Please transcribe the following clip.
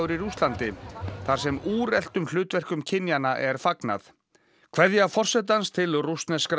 í Rússlandi þar sem úreltum hlutverkum kynjanna er fagnað kveðja forsetans til